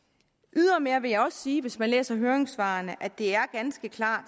ydermere vil jeg også sige at hvis man læser høringssvarene ser at det er ganske klart